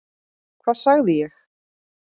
Hvað sagði ég??